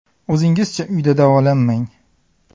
O‘zingizcha uyda davolanmang.